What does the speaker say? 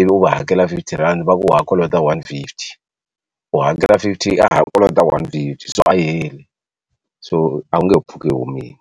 i vi u va hakela fifty rand va ku ha kolota one hndred and fiftyu hakela fifty rand wa ha kolota one hundred and fifty so a yi heli so a wu nge he pfuki yi humile.